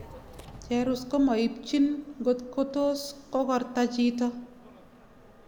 cherus komaibchin ngotkotos kogrta chito